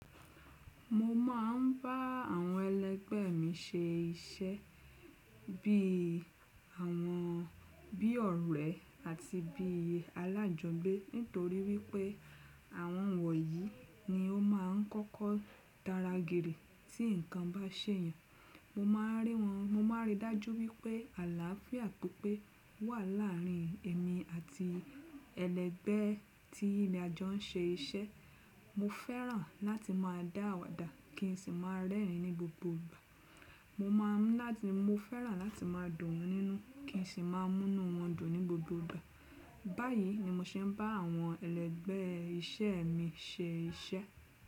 Mo máà ń bá àwọn ẹlẹgbẹ mi ṣe iṣẹ́ bí àwọn bí ọ̀rẹ́ àti bí alájọgbé nítorí wípé àwọn wọ̀nyí ni ó máa ń kọ́kọ́ daragìrì tí nǹkan bá ṣèyan. Mo máa ń rí wọn, mo máa ń rí dájú wípé àlàáfíà pipé wà láàrin èmi àti ẹlẹgbẹ tí ajọ́ ń ṣe iṣẹ́. Mo fẹ́ràn láti máa dá àwàdà kí n sì máa rẹ́rìn ní gbogbo ìgbà. Mo máa ń láti, mo fẹ́ràn láti máa dùn won nínú kí n sì máa mú inú wọn dùn ní gbogbo ìgbà. Báyìí ni mo ṣe ń bá àwọn ẹlẹgbẹ iṣẹ́ mi ṣe iṣẹ́.